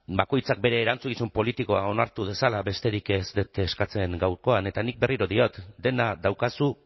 bakoitzak bere erantzukizun politikoa onartu dezala besterik ez ez dut eskatzen gaurkoan eta nik berriro diot dena daukazu